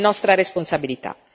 È nostra responsabilità.